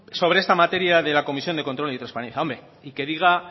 sobre esta materia de la comisión de control y transparencia hombre y que diga